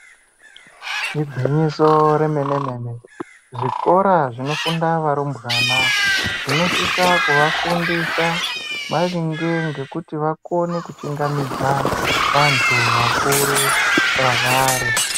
Igwinyiso remenemene zvikora zvinofunda varumbwana zvinosise kuvafundisa maringe ngekuti vakone kuchingamidza vanthu vakuru kwavari.